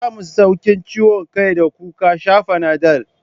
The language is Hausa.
Kun samu sauƙin ciwon kai da kuka sha Fanadol?